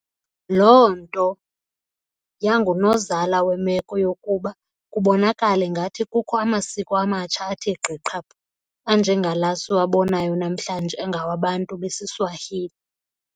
Loo nto yangunozala wemeko yokokuba kubonakale ngathi kukho amasiko amatsha athe gqi qhaphu, anje ngala siwabonayo namhlanje angawa Sbantu besiSwahili.